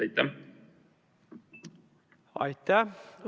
Aitäh!